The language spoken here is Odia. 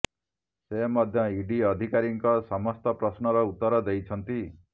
ସେ ମଧ୍ୟ ଇଡି ଅଧିକାରୀଙ୍କ ସମସ୍ତ ପ୍ରଶ୍ନର ଉତ୍ତର ଦେଇଛନ୍ତି